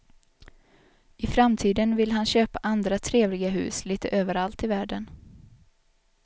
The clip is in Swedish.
I framtiden vill han köpa andra trevliga hus lite överallt i världen.